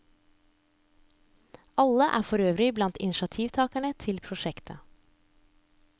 Alle er forøvrig blant initiativtagerne til prosjektet.